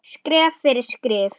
Skref fyrir skrif.